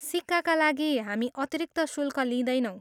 सिक्काका लागि हामी अतिरिक्त शुल्क लिदैनौँ।